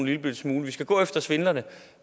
lillebitte smule vi skal gå efter svindlerne